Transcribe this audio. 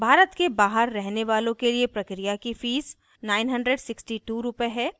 भारत के बहार रहने वालों के लिए प्रक्रिया की fee 96200 रुपए है